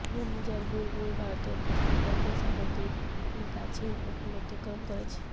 ঘুর্ণিঝড় বুলবুল ভারতের পশ্চিমবঙ্গের সাগরদ্বীপের কাছে উপকুল অতিক্রম করেছে